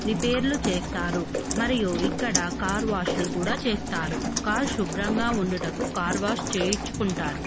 Repair లు చేస్తారు. మరియు ఇక్కడ కార్ వాష్ లు కూడా చేస్తారు. కార్ శుభ్రంగా ఉండుటకు కార్ వాష్ చేయించుకుంటారు.